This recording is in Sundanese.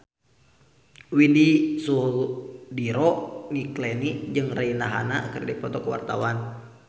Widy Soediro Nichlany jeung Rihanna keur dipoto ku wartawan